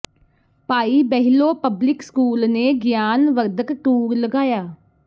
ਭਾਈ Behlo public school ਨੇ ਗਿਆਨ ਵਰਧਕ ਟੂਰ ਲਗਾਇਆ